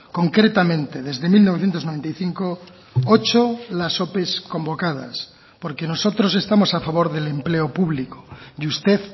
concretamente desde mil novecientos noventa y cinco ocho las ope convocadas porque nosotros estamos a favor del empleo público y usted